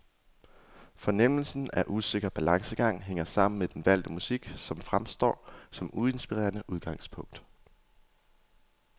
Fornemmelsen af usikker balancegang hænger sammen med den valgte musik, som fremstår som uinspirerende udgangspunkt.